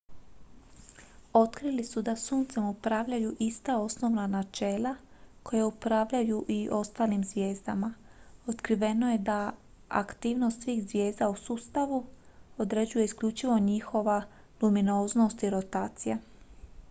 otkrili su da suncem upravljaju ista osnovna načela koja upravljaju i ostalim zvijezdama otkriveno je da aktivnost svih zvijezda u sustavu određuje isključivo njihova luminoznost i rotacija